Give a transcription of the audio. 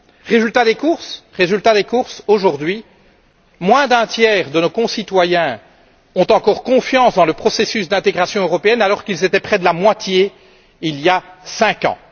Résultat des courses aujourd'hui, moins d'un tiers de nos concitoyens ont encore confiance dans le processus d'intégration européenne alors qu'ils étaient près de la moitié il y a cinq ans.